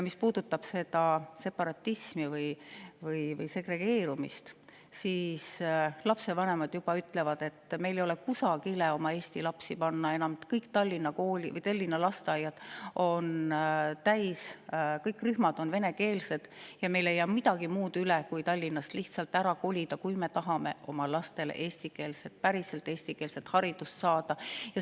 Mis puudutab separatismi või segregeerumist, siis lapsevanemad ütlevad, et meil ei ole enam oma eesti lapsi kuskile panna, sest kõik Tallinna lasteaiarühmad on venekeelsed, meil ei jää midagi muud üle, kui Tallinnast lihtsalt ära kolida, kui me tahame oma lastele eestikeelset, päriselt eestikeelset haridust saada.